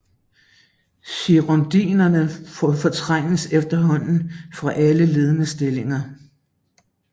Girondinerne fortrængtes efterhånden fra alle ledende stillinger